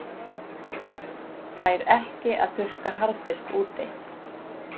Fær ekki að þurrka harðfisk úti